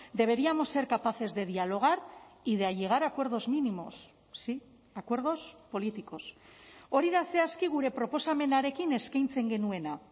deberíamos ser capaces de dialogar y de llegar a acuerdos mínimos sí acuerdos políticos hori da zehazki gure proposamenarekin eskaintzen genuena